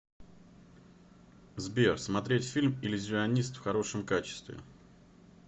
сбер смотреть фильм иллюзионист в хорошем качестве